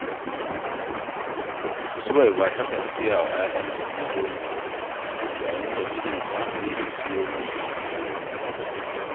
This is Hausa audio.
Suwaiba takan siya wa 'ya'yanta indomi, yayin da mijinta yake siyo musu lemo